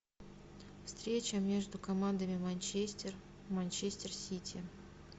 встреча между командами манчестер манчестер сити